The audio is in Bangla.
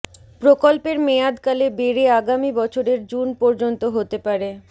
প্রকল্পের মেয়াদকাল বেড়ে আগামী বছরের জুন পর্যন্ত হতে পারে